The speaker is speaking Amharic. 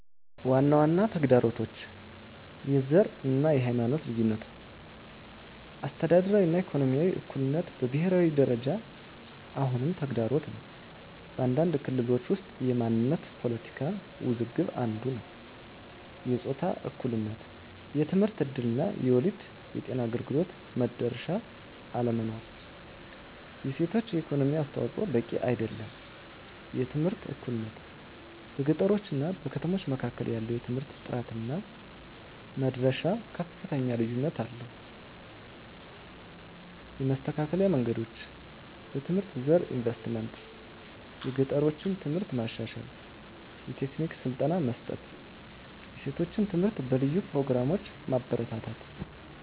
ዋና ዋና ተግዳሮቶች፦ # የዘር እና የሃይማኖት ልዩነቶች - አስተዳደራዊ እና ኢኮኖሚያዊ እኩልነት በብሄራዊ ደረጃ አሁንም ተግዳሮት ነው። በአንዳንድ ክልሎች ውስጥ የማንነት ፖለቲካ ውዝግብ አንዱ ነዉ። #የጾታ እኩልነት የትምህርት እድል እና የወሊድ ጤና አገልግሎት መድረሻ አለመኖር። የሴቶች የኢኮኖሚ አስተዋፅዖ በቂ አይደለም። #የትምህርት እኩልነት - በገጠሮች እና ከተሞች መካከል ያለው የትምህርት ጥራት እና መድረሻ ከፍተኛ ልዩነት አለው። የመስተካከል መንገዶች፦ #በትምህርት ዘርፍ ኢንቨስትመንት - የገጠሮችን ትምህርት ማሻሻል፣ የቴክኒክ ስልጠና መስጠት፣ የሴቶች ትምህርት በልዩ ፕሮግራሞች ማበረታታት።